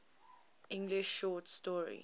english short story